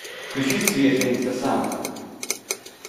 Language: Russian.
включи свежая инстасамка